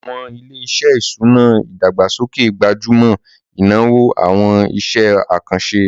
Àwọn ilé-iṣẹ́ ìṣúná ìdàgbàsókè gbájú mọ́ ìnáwó àwọn iṣẹ́ àkànṣe